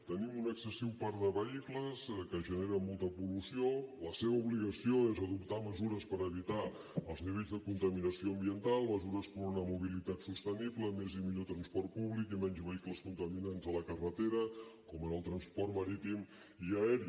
tenim un excessiu parc de vehicles que genera molta pol·lució la seva obligació és adoptar mesures per evitar els nivells de contaminació ambiental mesures per una mobilitat sostenible més i millor transport públic i menys vehicles contaminants a la carretera com en el transport marítim i aeri